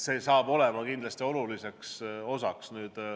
See on kindlasti selle oluline osa.